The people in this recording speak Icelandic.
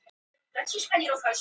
Enginn hefur verið handtekinn